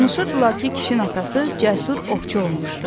Danışırdılar ki, Kişin atası cəsur ovçu olmuşdu.